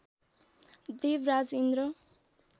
Devraj Indra